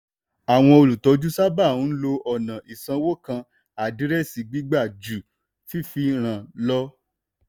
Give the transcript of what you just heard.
àwọn olùtọ́jú sábà ń lo ọ̀nà ìsanwó kan àdírẹ́sì gbígbà ju fífi ran lọ.